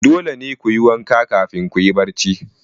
Dole ne ku yi wanka kafin kuyi barci.